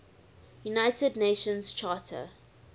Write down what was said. united nations charter